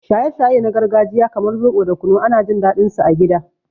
Shaye-shaye na gargajiya kamar zobo da kunu ana jin daɗinsu a gida.